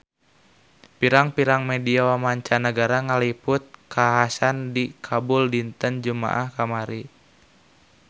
Pirang-pirang media mancanagara ngaliput kakhasan di Kabul dinten Jumaah kamari